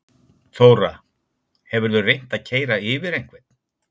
Þóra: Hefurðu reynt að keyra yfir einhvern?